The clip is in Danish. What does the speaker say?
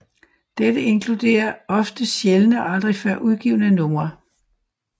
Dette inkluderer ofte sjældne og aldrig før udgivne numre